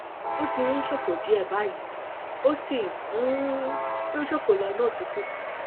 ó ti ń ṣòfò díẹ báyìí ó sì um ń ṣòfò lọnà tútù